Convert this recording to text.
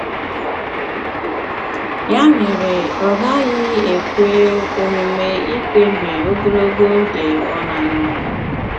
Ya mere, ọ gaghị ekwe omume ikpebi ogologo oge ọ na-anọghị.